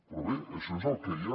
però bé això és el que hi ha